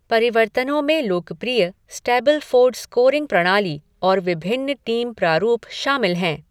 परिवर्तनों में लोकप्रिय स्टैबलफ़ोर्ड स्कोरिंग प्रणाली और विभिन्न टीम प्रारूप शामिल हैं।